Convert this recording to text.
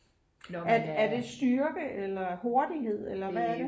er det styrke eller hurtighed eller hvad er det?